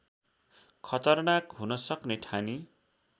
खतरनाक हुन सक्ने ठानी